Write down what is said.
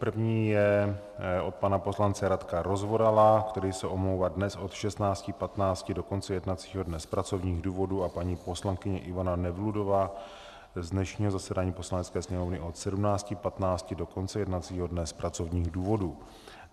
První je od pana poslance Radka Rozvorala, který se omlouvá dnes od 16.15 do konce jednacího dne z pracovních důvodů a paní poslankyně Ivana Nevludová z dnešního zasedání Poslanecké sněmovny od 17.45 do konce jednacího dne z pracovních důvodů.